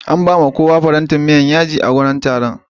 An bawa kowa farantin miyan yaji a wajen taron